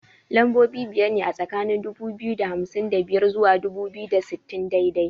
Lambobi biyar ne a tsakani dubu biyu da hamsin da biyar zuwa dubu biyu da sittin daidai